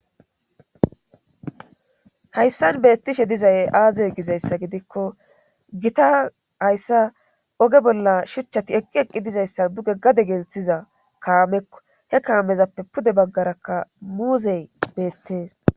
hayssan beettishe dizay aazee gizayssa gidikko gita hayssa oge bolla shuchchati eqqi eqqi dizayssa duge gade gelthiza kaamekko he kaamezappe pude baggarakka muuzey beettees